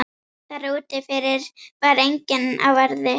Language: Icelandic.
Þar úti fyrir var enginn á verði.